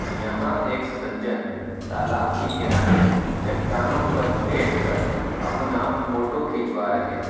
यहाँ एक सज्जन तालाब के किनारे चट्टानों पर बैठकर अपना फोटो खिचवा रहे हैं।